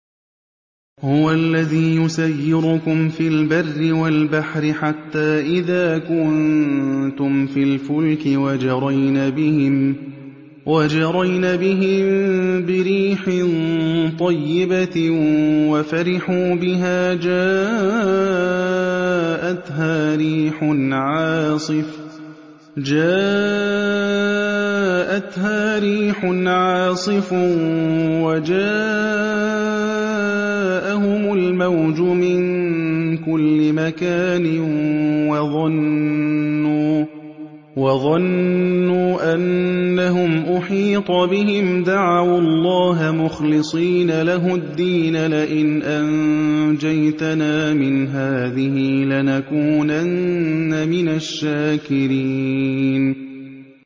هُوَ الَّذِي يُسَيِّرُكُمْ فِي الْبَرِّ وَالْبَحْرِ ۖ حَتَّىٰ إِذَا كُنتُمْ فِي الْفُلْكِ وَجَرَيْنَ بِهِم بِرِيحٍ طَيِّبَةٍ وَفَرِحُوا بِهَا جَاءَتْهَا رِيحٌ عَاصِفٌ وَجَاءَهُمُ الْمَوْجُ مِن كُلِّ مَكَانٍ وَظَنُّوا أَنَّهُمْ أُحِيطَ بِهِمْ ۙ دَعَوُا اللَّهَ مُخْلِصِينَ لَهُ الدِّينَ لَئِنْ أَنجَيْتَنَا مِنْ هَٰذِهِ لَنَكُونَنَّ مِنَ الشَّاكِرِينَ